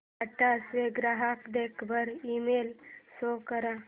टाटा चा ग्राहक देखभाल ईमेल शो कर